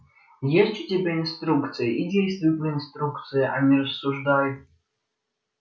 есть у тебя инструкция и действуй по инструкции а не рассуждай